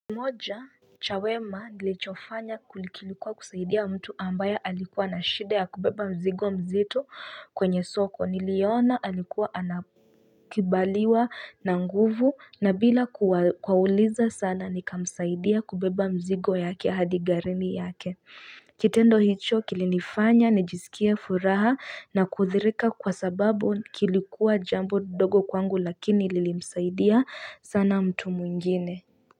Moja cha wema nilichofanya kilikuwa kusaidia mtu ambaya alikuwa na shida ya kubeba mzigo mzito kwenye soko. Niliona alikuwa anakibaliwa na nguvu na bila kwauliza sana nikamsaidia kubeba mzigo yake hadi garini yake. Kitendo hicho kilinifanya nijisikia furaha na kuthirika. Kwa sababu kilikuwa jambo dogo kwangu lakini lilimsaidia sana mtu mwingine.